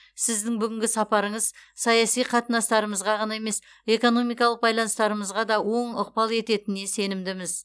сіздің бүгінгі сапарыңыз саяси қатынастарымызға ғана емес экономикалық байланыстарымызға да оң ықпал ететініне сенімдіміз